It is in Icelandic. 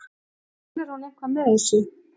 Meinar hún eitthvað með þessu?